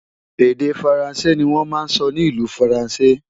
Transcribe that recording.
Èdè Faransé ni wọ́n ń sọ ní ìlú Faransé